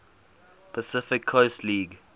pacific coast league